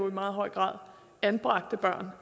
meget høj grad anbragte børn